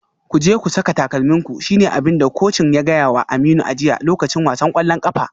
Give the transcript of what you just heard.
Ku je ku saka takalminku shi ne abin da kocin ya gaya wa Aminu a jiya a lokacin wasan kwallon kafa.